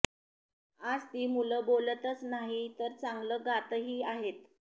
आज ती मुलं बोलतच नाही तर चांगलं गातही आहेत